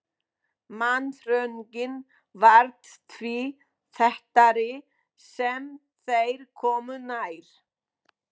Mannþröngin varð því þéttari sem þeir komu nær.